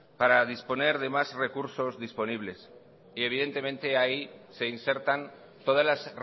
para disponer de más recursos disponibles y evidentemente ahí se insertan todas las